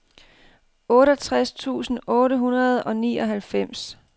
otteogtres tusind otte hundrede og nioghalvfems